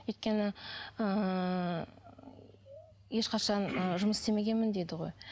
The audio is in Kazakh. өйткені ыыы ешқашан ы жұмыс істемегенмін дейді ғой